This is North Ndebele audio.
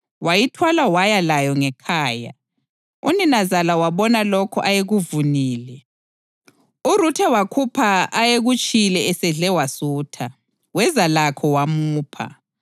Wayithwala waya layo ngekhaya, uninazala wabona lokho ayekuvunile. URuthe wakhupha ayekutshiyile esedle wasutha, weza lakho wamupha.